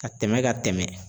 Ka tɛmɛ ka tɛmɛ.